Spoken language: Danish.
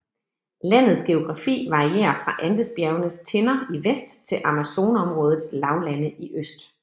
Landets geografi varierer fra Andesbjergenes tinder i vest til Amazonområdets lavlande i øst